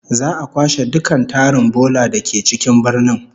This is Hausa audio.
Za'a kwashe dukkan tarin bola da ke cikin birnin